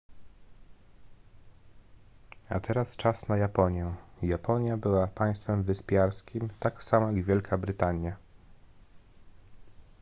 a teraz czas na japonię japonia była państwem wyspiarskim tak samo jak wielka brytania